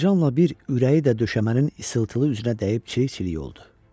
Fincanla bir ürəyi də döşəmənin ışıltılı üzünə dəyib çilik-çilik oldu.